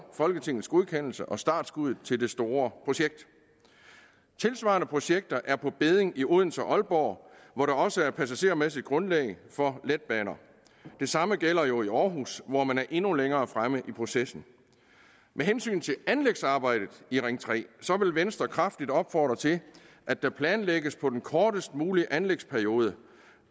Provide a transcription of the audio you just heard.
folketingets godkendelse og startskuddet til det store projekt tilsvarende projekter er på bedding i odense og aalborg hvor der også passagermæssigt er grundlag for letbaner det samme gælder jo i aarhus hvor man er endnu længere fremme i processen med hensyn til anlægsarbejdet i ring tre vil venstre kraftigt opfordre til at der planlægges med den kortest mulige anlægsperiode